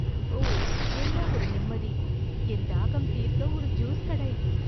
ஓ, என்ன ஒரு நிம்மதி! என் தாகம் தீர்க்க ஒரு ஜூஸ் கடை.